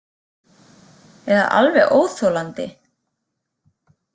Eða alveg óþolandi.